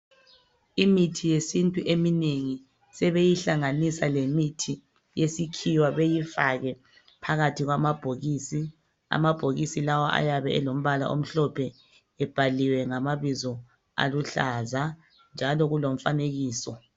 Imithi yesintu eminengi sebeyihlangabisa lemuthi yesikhiwa beyi fake phakathi kwambokisi amabhokisi ayabe elamabala amhlophe ebhaliwe ngamabizo aluhlaza njalo kulomfane kiso.